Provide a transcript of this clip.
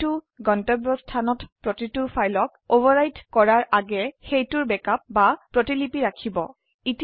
এটি গন্তব্যস্থানত প্ৰতিটো ফাইলক অভাৰৰাইট কৰাৰ আগে সেইটোৰ ব্যাকআপ বা প্ৰতিলিপি ৰাখিব